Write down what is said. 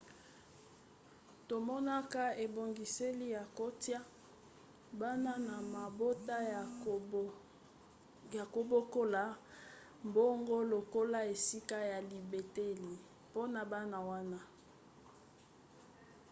tomonaka ebongiseli ya kotia bana na mabota ya kobokola bango lokola esika ya libateli mpona bana wana